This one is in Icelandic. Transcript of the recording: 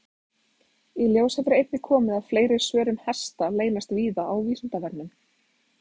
Í ljós hefur einnig komið að fleiri svör um hesta leynast víða á Vísindavefnum.